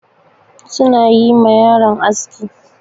Su na yi ma yaron aski.